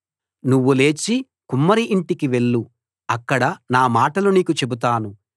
నువ్వు లేచి కుమ్మరి యింటికి వెళ్ళు అక్కడ నా మాటలు నీకు చెబుతాను